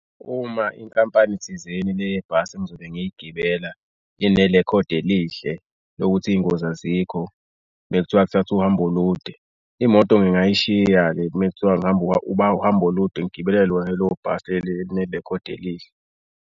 Uma inkampani thizeni le yebhasi engizobe ngigibela inerekhodi elihle lokuthi iy'ngozi azikho. Uma kuthiwa kuthathwa uhambo olude imoto ngingay'shiya-ke uma kuthiwa ngihamba uhambo olude ngigibela lona lelo bhasi elinerekhodi elihle.